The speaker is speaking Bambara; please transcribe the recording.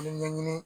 ɲɛɲini